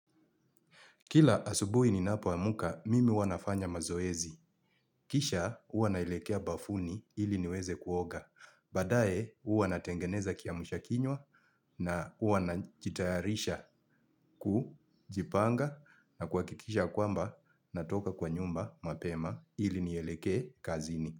Kila asubuhi ni napo amka, mimi huwa nafanya mazoezi. Kisha, huwa naelekea bafuni ili niweze kuoga. Badae, huwa natengeneza kiamsha kinywa na huwa na jitayarisha kujipanga na kuha kikisha kwamba natoka kwa nyumba mapema ili nielekee kazini.